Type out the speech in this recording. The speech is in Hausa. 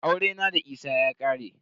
Aurena da Isa ya ƙare.